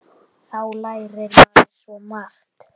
Þá lærir maður svo margt.